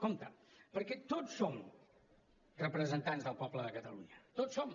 compte perquè tots som representants del poble de catalunya tots ho som